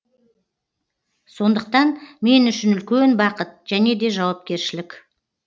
сондықтан мен үшін үлкен бақыт және де жауапкершілік